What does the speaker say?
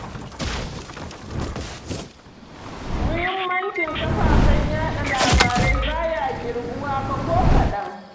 Muhimmancin kafafen yaɗa labarai ba ya ƙirguwa fa ko kaɗan